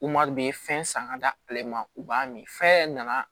fɛn san ka d'ale ma u b'a min fɛn nana